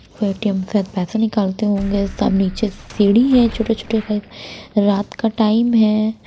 ATM से पैसे निकालते होंगे सब नीचे सीढी है छोटे-छोटे टाइप रात का टाइम है।